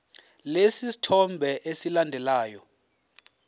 lesi sithombe esilandelayo